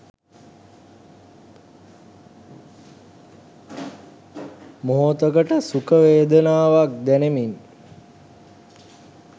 මොහොතකට සුඛ වේදනාවක් දැනෙමින්